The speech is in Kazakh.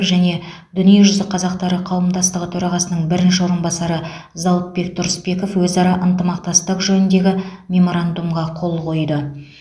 және дүниежүзі қазақтары қауымдастығы төрағасының бірінші орынбасары зауытбек тұрысбеков өзара ынтымақтастық жөніндегі меморандумға қол қойды